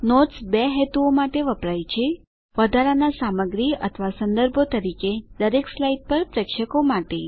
notes બે હેતુઓ માટે વપરાય છે વધારાના સામગ્રી અથવા સંદર્ભો તરીકે દરેક સ્લાઇડ પર પ્રેક્ષકો માટે